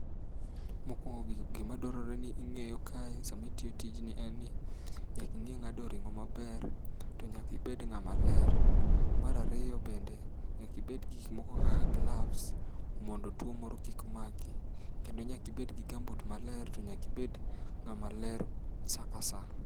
Mokuongo gi gimadwarore ni ing'eyo kae sami itiyo tiji en ni, nyaka ing'e ng'ado ring'o maber, to nyaki ibed ng'ama ler. Mar ariyo bende, nyaka ibed gi gik moko kaka gloves mondo tuo moro kik maki. Kendo nyaki ibed gi gumboot maler to nyaki ibed ng'ama ler sa kasaa